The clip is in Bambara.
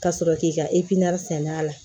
Ka sɔrɔ k'i ka sɛn'a la